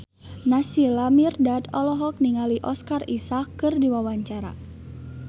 Naysila Mirdad olohok ningali Oscar Isaac keur diwawancara